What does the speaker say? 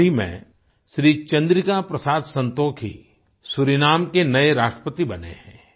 हाल ही में श्री चन्द्रिका प्रसाद संतोखी सूरीनाम के नये राष्ट्रपति बने हैं